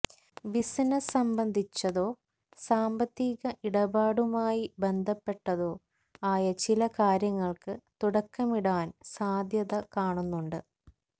business സംബന്ധിച്ചതോ സാമ്പത്തീക ഇടപാടുമായ് ബന്ധപ്പെട്ടതോ ആയ ചില കാര്യങ്ങള്ക്ക് തുടക്കമിടാന് സാധ്യത കാണുന്നുണ്ട്